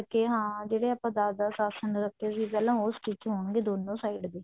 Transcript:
ਤੇ ਹਾਂ ਜਿਹੜੇ ਆਪਾਂ ਦਸ ਦਸ ਆਸਣ ਰੱਖੇ ਸੀ ਪਹਿਲਾਂ ਉਹ stich ਹੋਣਗੇ ਦੋਨੋ side ਦੇ